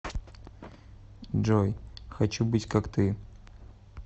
джой хочу быть как ты